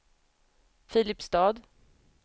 Filipstad